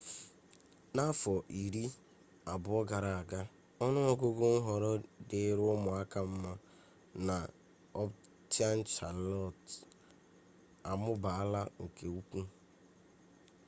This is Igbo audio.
n'afọ iri abụọ gara aga ọnụ ọgụgụ nhọrọ dịịrị ụmụaka mma na ọptaụn chalọt amụbaala nke ukwu